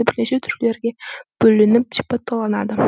бірнеше түрлерге бөлініп сипатталынады